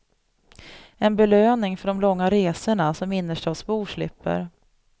En belöning för de långa resorna som innerstadsbor slipper.